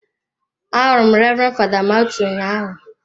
Ahụrụ m Reverend father Mathew ụnyahụ.